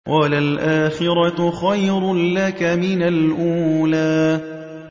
وَلَلْآخِرَةُ خَيْرٌ لَّكَ مِنَ الْأُولَىٰ